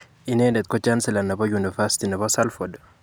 Inendet ko chancellor nebo University nebo Salford.